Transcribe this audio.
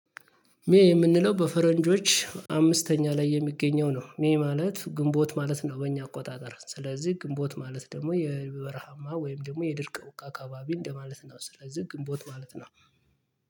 ሜ የምንለው በፈረንጆች አምስተኛ ላይ የሚገኘው ነው። ሜ ማለት ግንቦት ማለት ነው። በእኛ አቆጣጠር ስለዚህ ግንቦት ማለት ደግሞ የበረሃማ ወይም ደግሞ የድርቅ ውቃ አካባቢ እንደማለት ነው። ስለዚህ ግንቦት ማለት ነው